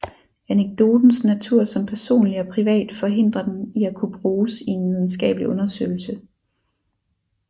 Anekdotens natur som personlig og privat forhindrer den i at kunne bruges i en videnskabelig undersøgelse